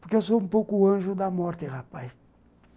Porque eu sou um pouco o anjo da morte, rapaz.